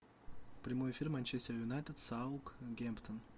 прямой эфир манчестер юнайтед саутгемптон